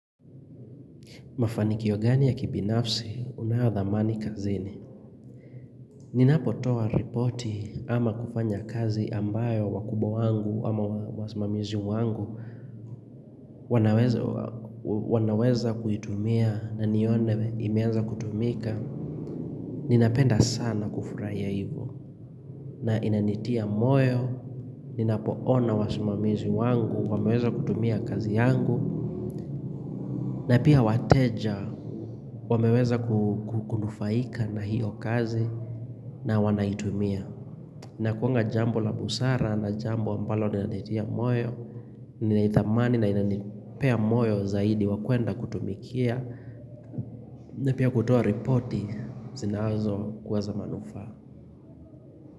Mafanikio gani ya kibinafsi, unayodhamani kazini. Ninapotoa ripoti ama kufanya kazi ambayo wakubwa wangu ama wasimamizi wangu. Wanaweza kuitumia na nione imeanza kutumika. Ninapenda sana kufurahia hivyo. Na inanitia moyo, ninapoona wasimamizi wangu, wameweza kutumia kazi yangu. Na pia wateja wameweza kunufaika na hiyo kazi na wanaitumia inakuanga jambo la busara na jambo ambalo linanitia moyo Ninaithamani na inanipea moyo zaidi wa kuenda kutumikia na pia kutoa ripoti zinazokuwa za manufaa.